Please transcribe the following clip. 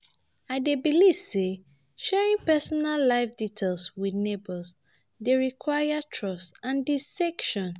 I dey believe say sharing personal life details with neighbors dey require trust and discretion.